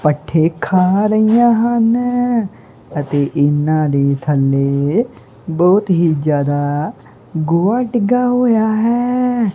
ਭੱਠੇ ਖਾ ਰਹੀਆਂ ਹਨ ਅਤੇ ਇਹਨਾਂ ਦੀ ਥੱਲੇ ਬਹੁਤ ਹੀ ਜਿਆਦਾ ਗੋਆ ਟਿੱਗਾ ਹੋਇਆ ਹੈ।